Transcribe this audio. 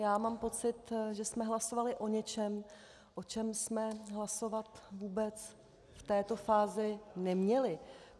Já mám pocit, že jsme hlasovali o něčem, o čem jsme hlasovat vůbec v této fázi neměli.